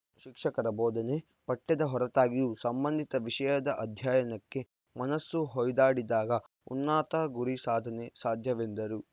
ಶಿಕ್ಷಕರ ಬೋಧನೆ ಪಠ್ಯದ ಹೊರತಾಗಿಯೂ ಸಂಬಂಧಿತ ವಿಷಯದ ಅಧ್ಯಯನಕ್ಕೆ ಮನಸ್ಸು ಹೊಯ್ದಾಡಿದಾಗ ಉನ್ನತ ಗುರಿ ಸಾಧನೆ ಸಾಧ್ಯವೆಂದರು